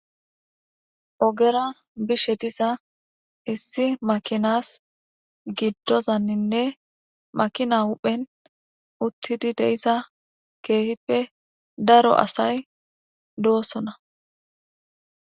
Ogera bishe diza issi makinas giddozanninne makina huphen uttidi deisa keehippe daro asay doosona.